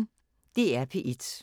DR P1